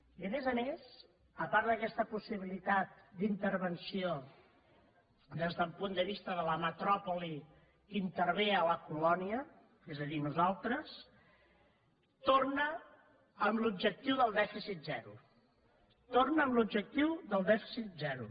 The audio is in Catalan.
i a més a més a part d’aquesta possibilitat d’intervenció des del punt de vista de la metròpoli que intervé la colònia és a dir nosaltres torna a l’objectiu del dèficit zero torna a l’objectiu del dèficit zero